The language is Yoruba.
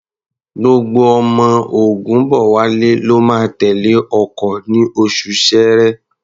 Gbogbo àwọn ọmọ Ògúnbọ̀wálé ló máa tẹ̀lé ọkọ̀ ní oṣù Ṣẹẹrẹ.